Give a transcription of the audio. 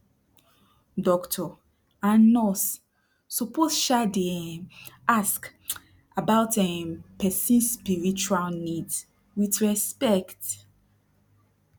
doctor and nurse suppose um dey um ask about emm person spiritual needs wit respect